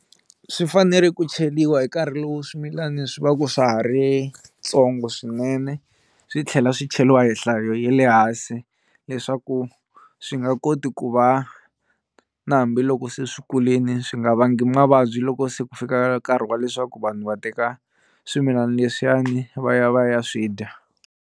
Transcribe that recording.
Swi fanele ku cheriwa hi nkarhi lowu swimilani swi va ku swa ha ri ntsongo swinene swi tlhela swi cheliwa hi nhlayo ya le hansi leswaku swi nga koti ku va na hambiloko se swi kulini swi nga vangi mavabyi loko se ku fika nkarhi wa leswaku vanhu va teka swimilani leswiyani va ya va ya swi dya